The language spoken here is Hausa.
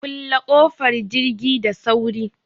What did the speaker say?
Kulle ƙofar jirgi da sauri!